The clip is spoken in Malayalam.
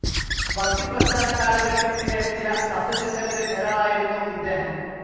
ഭക്തി പ്രസ്ഥാന കാലഘട്ടത്തിലെ പ്രധാന തത്വചിന്തകരിൽ ഒരാളായിരുന്നു ഇദ്ദേഹം.